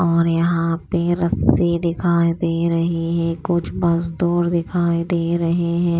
और यहां पे रस्सी दिखाई दे रही हैं कुछ मजदूर दिखाई दे रहे हैं।